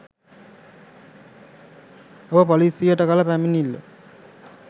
ඔබ පොලිසියට කළ පැමිණිල්ල